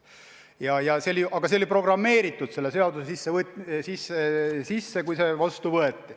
Aga see oli juba selle seaduse sisse programmeeritud, kui see vastu võeti.